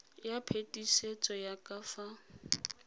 ya phetisetso ya ka fa